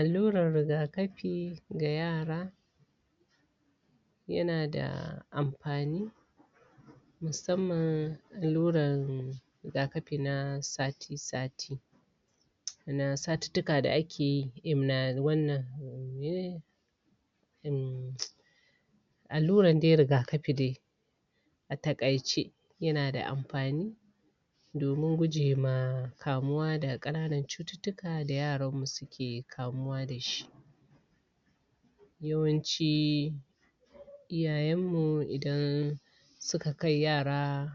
Alluran riga kafi ga yara yana da amfani musamman alluran riga kafi na sati sati na satuttuka da ake yi immuni wannan mene ne? Um alluran dai riga kafi dai a taƙaice yana da amfani domin guje ma kamuwa da ƙananan cututtuka da yaran mu suke kamuwa da shi. Yawanci iyayenmu idan suka kai yara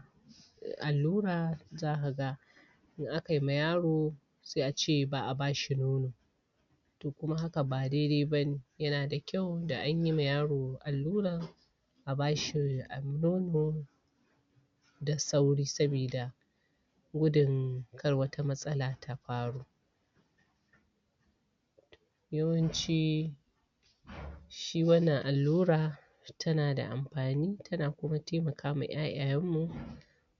allura za ka ga in a kai ma yaro, se a ce ba a ba shi nono. To kuma haka ba daidai ba ne yana da ƙyau da an yi ma yaro allura a ba shi nono da sauri sabida gudun kar wata matsala ta faru. Yawanci shi wannan allura tana da amfani tana kuma taimaka wa ƴaƴayenmu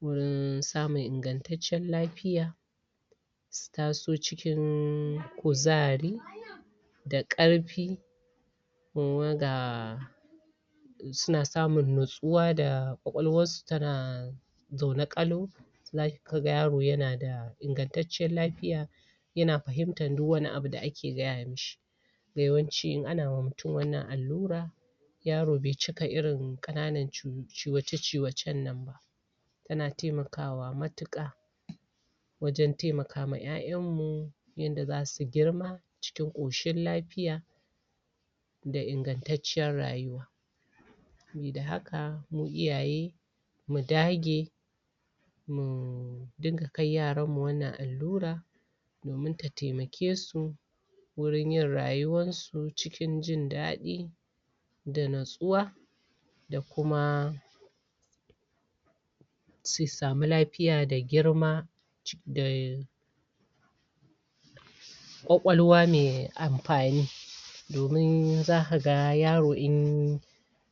wurin samun ingantacciyen lafiya su taso cikin kuzari da ƙarfi ga suna samun natsuwa da ƙwaƙwalwarsu tana zaune ƙalau za ka ga yaro yana da ingantacciyar lafiya yana fahimtar duk wani abu da ake gaya mishi. Yawanci in ana ma mutum wannan allura yaro be cika irin ƙananan ciwoce ciwocen nan ba, tana taimakawa matuƙa wajen taimaka ma ƴaƴanmu yanda za su girma cikin ƙoshin lafiya da ingantacciyar rayuwa. Sabida haka mu iyaye mu dage mu dinga kai yaranmu wannan allura domin ta taimake su wurin yin rayuwansu cikin jin daɗi da natsuwa da kuma su samu lafiya da girma da ƙwaƙwalwa mai amfani domin za ka ga yaro in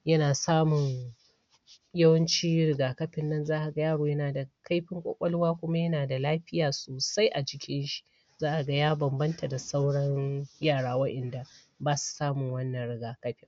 yana samun yawanci riga kafin nan za ka ga yaro yana da kaifin ƙwaƙwala kuma yana da lafiya sosai a jikin shi. Za ka ga ya bambanta da sauran yara wa'inda ba su samun wannan riga kafi.